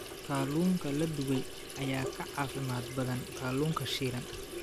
Kalluunka la dubay ayaa ka caafimaad badan kalluunka shiilan.